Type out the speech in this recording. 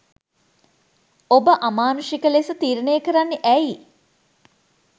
ඔබ අමානුෂික ලෙස තීරණය කරන්නේ ඇයි?